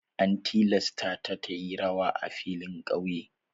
An tilasta ta yi rawa a filin ƙauye.